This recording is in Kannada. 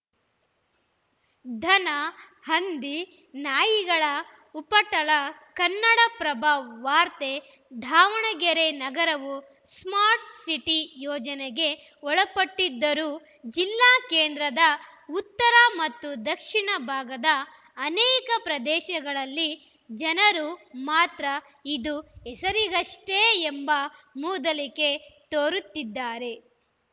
ದನ ಹಂದಿ ನಾಯಿಗಳ ಉಪಟಳ ಕನ್ನಡಪ್ರಭ ವಾರ್ತೆ ದಾವಣಗೆರೆ ನಗರವು ಸ್ಮಾರ್ಟ್ ಸಿಟಿ ಯೋಜನೆಗೆ ಒಳಪಟ್ಟಿದ್ದರೂ ಜಿಲ್ಲಾ ಕೇಂದ್ರದ ಉತ್ತರ ಮತ್ತು ದಕ್ಷಿಣ ಭಾಗದ ಅನೇಕ ಪ್ರದೇಶಗಳಲ್ಲಿ ಜನರು ಮಾತ್ರ ಇದು ಹೆಸರಿಗಷ್ಟೇ ಎಂಬ ಮೂದಲಿಕೆ ತೋರುತ್ತಿದ್ದಾರೆ